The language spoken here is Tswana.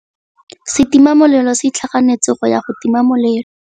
Setima molelô se itlhaganêtse go ya go tima molelô.